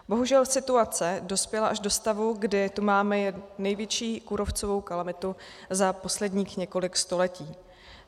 Bohužel situace dospěla až do stavu, kdy tu máme největší kůrovcovou kalamitu za posledních několik století.